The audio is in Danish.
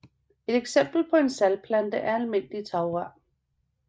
Et eksempel på en saltplante er Almindelig Tagrør